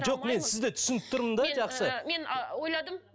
жоқ мен сізді түсініп тұрмын да жақсы мен ііі мен ойладым